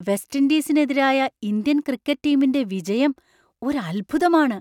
West ഇൻഡീസിനെതിരായ Indian cricket ടീമിന്‍റെ വിജയം ഒരു അത്ഭുതമാണ്.